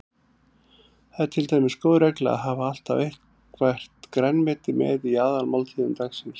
Það er til dæmis góð regla að hafa alltaf eitthvert grænmeti með í aðalmáltíðum dagsins.